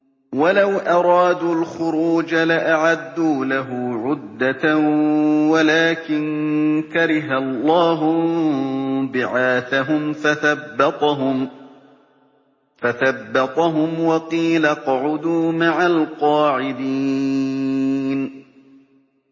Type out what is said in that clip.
۞ وَلَوْ أَرَادُوا الْخُرُوجَ لَأَعَدُّوا لَهُ عُدَّةً وَلَٰكِن كَرِهَ اللَّهُ انبِعَاثَهُمْ فَثَبَّطَهُمْ وَقِيلَ اقْعُدُوا مَعَ الْقَاعِدِينَ